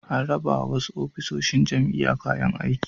An rabawa wasu ofisoshin jami'a kayan aiki.